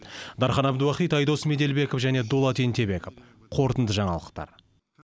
дархан әбдуахит айдос меделбеков және дулат ентебеков қорытынды жаңалықтар